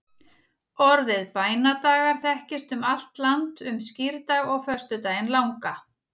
Orðið bænadagar þekkist um allt land um skírdag og föstudaginn langa.